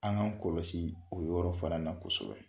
An k'an kɔlɔsi o yɔrɔ fara na kosɛbɛ.